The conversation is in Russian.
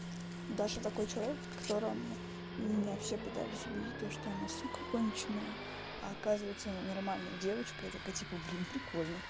даша какой человек которому меня все пытались убедить то что она сука конченая а оказывается она нормальная девочка я такая типа блин прикольно